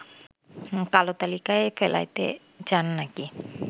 কালো তালিকায় ফেলাইতে চান নাকি